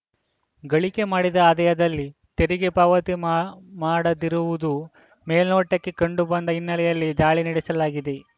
ಗಳಿಕೆ ಮಾಡಿದ ಆದಾಯದಲ್ಲಿ ತೆರಿಗೆ ಪಾವತಿ ಮಾ ಮಾಡದಿರುವುದು ಮೇಲ್ನೋಟಕ್ಕೆ ಕಂಡು ಬಂದ ಹಿನ್ನೆಲೆಯಲ್ಲಿ ದಾಳಿ ನಡೆಸಲಾಗಿದೆ